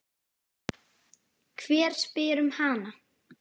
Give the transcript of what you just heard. Hver spyr um hana?